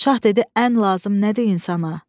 Şah dedi, ən lazım nədir insana?